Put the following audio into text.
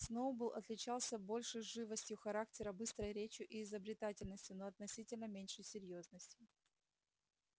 сноуболл отличался большей живостью характера быстрой речью и изобретательностью но относительно меньшей серьёзностью